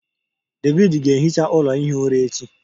David ga-ehicha ụlọ ihi ụra echi